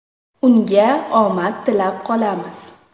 Unga omad tilab qolamiz!